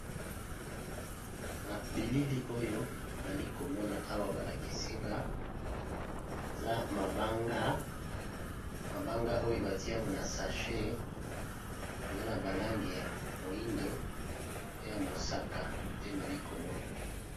Na bilili oyo nalikomona awa balakisinga eza mabanga oyo batiyango na sache eza na balangi ya moyindo pe ya mosaka te nalikomona.